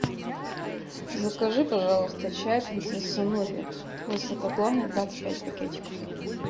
закажи пожалуйста чай принцесса нури высокогорный двадцать пять пакетиков